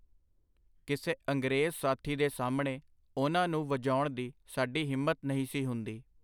ਕਿਸੇ ਅੰਗਰੇਜ਼ ਸਾਥੀ ਦੇ ਸਾਹਮਣੇ ਉਹਨਾਂ ਨੂੰ ਵਜਾਉਣ ਦੀ ਸਾਡੀ ਹਿੰਮਤ ਨਹੀਂ ਸੀ ਹੁੰਦੀ.